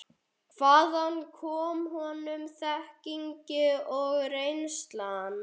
Hvaðan kom honum þekkingin og reynslan?